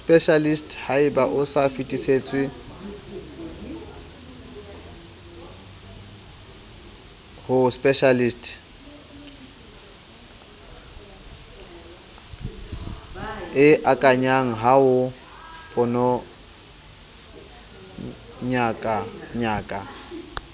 specialist haebaosafetisetswaho specialist kengakayahao ponoyangakaya